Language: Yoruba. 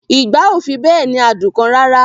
Ìgbá ò fi bẹ́ẹ̀ ní adùn kan rara